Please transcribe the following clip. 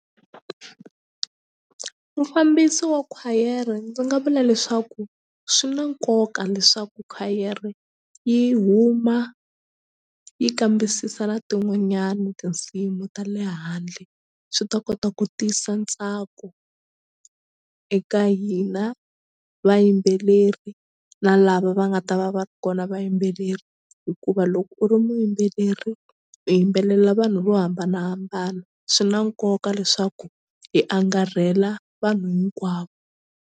Mufambisi wa khwayere ndzi nga vula leswaku swi na nkoka leswaku khwayere yi huma yi kambisisa na tin'wanyani tinsimu ta le handle swi ta kota ku tisa ntsako eka hina vayimbeleri na lava va nga ta va va ri kona vayimbeleri hikuva loko u ri muyimbeleri u yimbelela vanhu vo hambanahambana swi na nkoka leswaku hi angarhela vanhu hinkwavo.